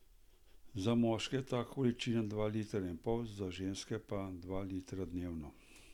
Za moške je ta količina dva litra in pol, za ženske pa dva litra dnevno.